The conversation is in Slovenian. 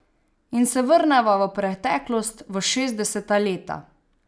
In se vrneva v preteklost, v šestdeseta leta.